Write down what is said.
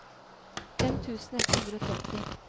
fem tusen ett hundre og tretti